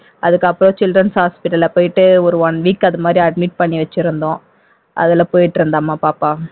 அதுக்கப்புறம் children's hospital ல போயிட்டு ஒரு one week அது மாதிரி admit பண்ணி வச்சிருந்தோம் அதுல போயிட்டு இருந்தாம்மா பாப்பா